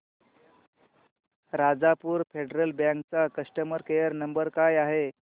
Rajapur Federal bank चा customer care number काय आहे